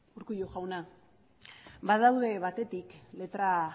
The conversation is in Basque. urkullu jauna badaude batetik letra